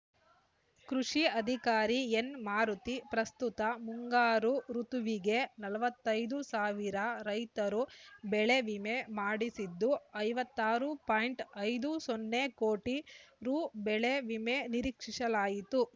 ಕೃಷಿ ಅಧಿಕಾರಿ ಎನ್‌ಮಾರುತಿ ಪ್ರಸ್ತುತ ಮುಂಗಾರು ಋುತುವಿಗೆ ನಲವತ್ತೈದು ಸಾವಿರ ರೈತರು ಬೆಳೆ ವಿಮೆ ಮಾಡಿಸಿದ್ದು ಐವತ್ತ್ ಆರು ಪಾಯಿಂಟ್ ಐದು ಸೊನ್ನೆ ಕೋಟಿ ರು ಬೆಳೆ ವಿಮೆ ನಿರೀಕ್ಷಿಸಲಾಗಿದೆ